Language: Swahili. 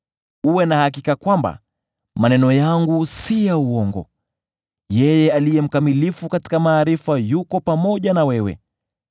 Uwe na hakika kwamba maneno yangu si ya uongo; mmoja aliye mkamilifu katika maarifa yuko pamoja na wewe.